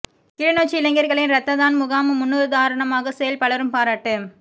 கிளிநொச்சி இளைஞர்களின் இரத்ததான் முகாம் முன்னுதாரணமான செயல் பலரும் பாராட்டு